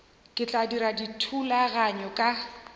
ke tla dira dithulaganyo ka